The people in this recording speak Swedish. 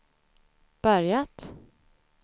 börjat